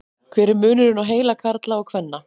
hver er munurinn á heila karla og kvenna